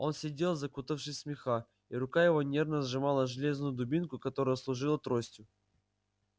он сидел закутавшись в меха и рука его нервно сжимала железную дубинку которая служила тростью